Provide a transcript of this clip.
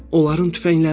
Onların tüfəngləri var.